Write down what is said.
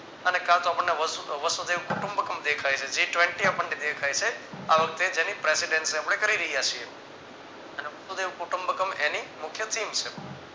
અને કાતો આપણને વસુદેવ કુટુંબક્મ દેખાય છે જે tevntyup આપણને દેખાય છે આ વખતે જેની presidency આપણે કરી રહ્યા છીએ અને વસુદેવ કુટુંમ્બક્મ એની મુખ્ય theme છે.